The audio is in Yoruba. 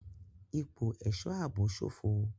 Ipò ẹ̀ṣọ́ ààbò ṣófo.